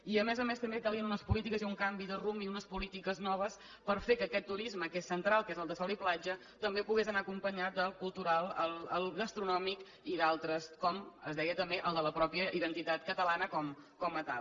i a més a més també calien unes polítiques i un canvi de rumb i unes polítiques noves per fer que aquest turisme que és central que és el de sol i platja també pogués anar acompanyat del cultural el gastronòmic i d’altres com es deia també el de la pròpia identitat catalana com a tal